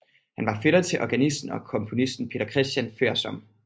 Han var fætter til organisten og komponisten Peter Christian Foersom